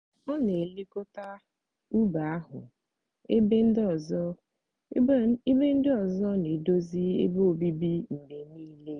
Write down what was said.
ọ n'elekọta ubi ahụ ebe ndị ebe ndị ọzọ n'edozi ebe obibi mgbe niile.